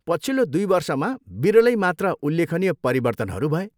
पछिल्लो दुई वर्षमा विरलै मात्र उल्लेखनीय परिवर्तनहरू भए।